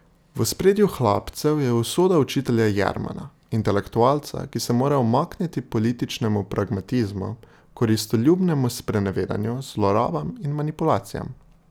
V ospredju Hlapcev je usoda učitelja Jermana, intelektualca, ki se mora umakniti političnemu pragmatizmu, koristoljubnemu sprenevedanju, zlorabam in manipulacijam.